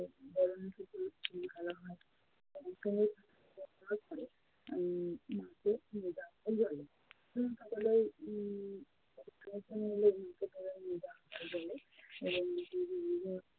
করার পরে উম মাকে নিয়ে যাওয়া হয় জলে। নিয়ে যাওয়া হয় জলে এবং